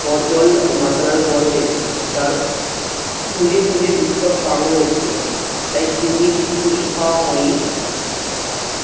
ঝড় জল মাতাল আর গর্ভে তার খুঁজে খুঁজে উৎসব পাগল হচ্ছিল। তাই চূর্ণীর খিচুড়ি খাওয়া হয় নি